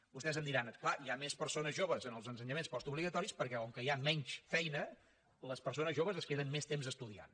vostès em diran clar hi ha més persones joves en els ensenyaments postobligatoris perquè com que hi ha menys feina les persones joves es queden més temps estudiant